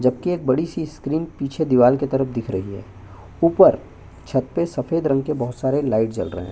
जबकि एक बड़ी सी स्क्रीन पीछे दीवाल के तरफ दिख रही है ऊपर छत पे सफेद रंग के बहुत सारे लाइट जल रहे है।